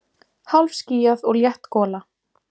Hálfskýjað og létt gola